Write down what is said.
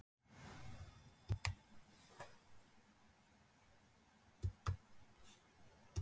Annar hafði farið illa út úr bílaviðskiptum.